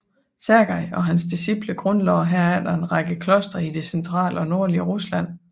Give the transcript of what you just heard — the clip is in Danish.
Sergij og hans disciple grundlagde herefter en række klostre i det centrale og nordlige Rusland